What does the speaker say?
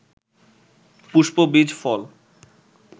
পুষ্প, বীজ, ফল